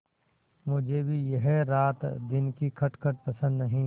मुझे भी यह रातदिन की खटखट पसंद नहीं